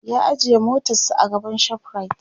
ya ajiye motarsa a gaban shoprite